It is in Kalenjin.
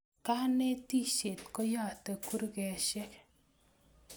Kanetishet koyate kurkeshek